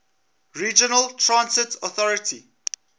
regional transit authority